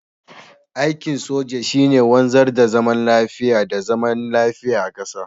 aikin soja shi ne wanzar da zaman lafiya da zaman lafiya a ƙasar